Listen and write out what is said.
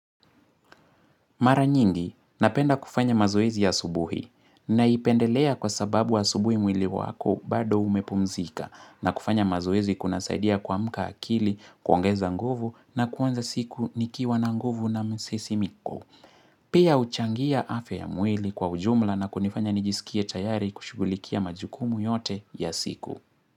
Maranyingi, napenda kufanya mazoezi asubuhi na ipendelea kwa sababu asubuhi mwili wako bado umepumzika na kufanya mazoezi kuna saidia kuamka akili kuongeza nguvu na kuanza siku nikiwa na nguvu na msisimiko. Pia uchangia afya ya mwili kwa ujumla na kunifanya nijisikie tayari kushugulikia majukumu yote ya siku.